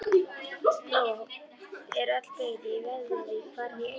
Nú er öll byggð í Vöðlavík farin í eyði.